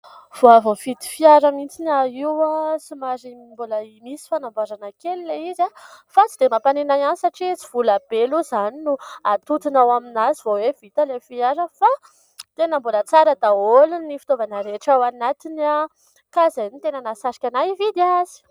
Vao avy nividy fiara mihitsy aho io. Somary mbola misy fanamboarana kely ilay izy fa tsy dia mampaninona ihany satria tsy vola be aloha izany no hatontona ao aminazy vao hoe vita ilay fiara fa tena mbola tsara daholo ny fitaovana rehetra ao anatiny ka izay no tena nahasarika ahy hividy azy.